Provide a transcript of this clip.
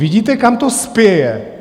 Vidíte, kam to spěje?